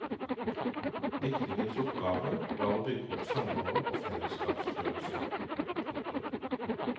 Diktningens oppgave var å bygge opp samhold og fellesskapsfølelse. punktum